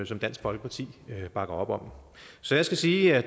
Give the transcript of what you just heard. som dansk folkeparti bakker op om så jeg skal sige at